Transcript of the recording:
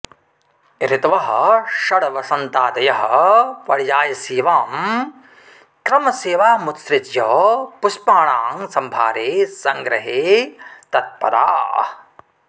ऋतवः षड् वसन्तादयः पर्यायसेवां क्रमसेवामुत्सृज्य पुष्पाणां संभारे संग्रहे तत्पराः